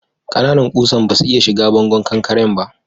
Ƙananan kusan basu iya shiga bangon kankaren ba.